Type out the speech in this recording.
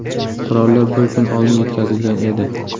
Qurollar bir kun oldin yetkazilgan edi.